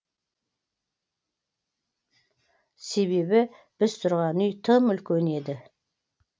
себебі біз тұрған үй тым үлкен еді